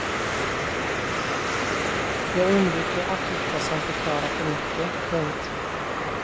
Jag undviker artiklar som förklarar för mycket. punkt